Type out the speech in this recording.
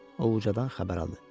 Ovcadan xəbər aldı.